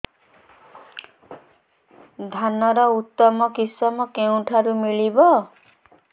ଧାନର ଉତ୍ତମ କିଶମ କେଉଁଠାରୁ ମିଳିବ